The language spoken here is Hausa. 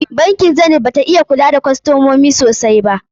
Bankin Zenith bata iya kula da kostomomi sosai ba.